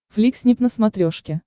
фликснип на смотрешке